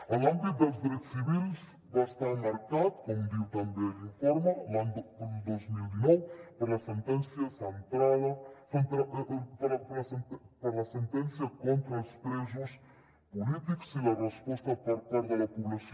en l’àmbit dels drets civils va estar marcat com diu també l’informe l’any dos mil dinou per la sentència contra els presos polítics i la resposta per part de la població